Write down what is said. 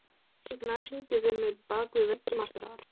Signar, syngdu fyrir mig „Bak við veggi martraðar“.